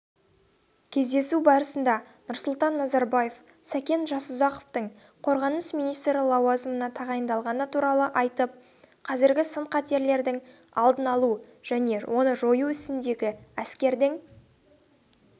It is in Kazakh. кездесу барысында нұрсұлтан назарбаев сәкен жасұзақовтың қорғаныс министрі лауазымына тағайындалғаны туралы айтып қазіргі сын-қатерлердің алдын алу және оны жою ісіндегі әскердің